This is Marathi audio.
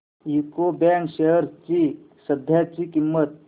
यूको बँक शेअर्स ची सध्याची किंमत